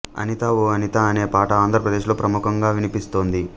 అనిత ఓ అనిత అనే పాట ఆంధ్రప్రదేశ్లో ప్రముఖంగా వినిపిస్తోంది